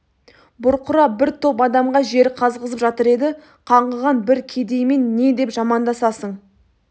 бұрқырап бір топ адамға жер қазғызып жатыр еді қаңғыған бір кедеймен не деп жамандасасың